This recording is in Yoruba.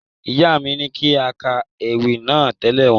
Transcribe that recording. Ìyá mi ní kí a ka ewì náà tẹ̀lé wọn.